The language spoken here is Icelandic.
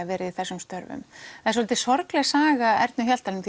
verið í þessum störfum en svolítið sorgleg saga Ernu Hjaltalín